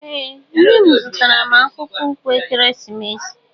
Ee nne m zụtara m akpụkpọ ụkwụ ekeresimesi